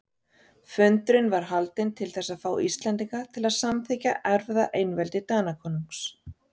Fundurinn var haldinn til þess að fá Íslendinga til að samþykkja erfðaeinveldi Danakonungs.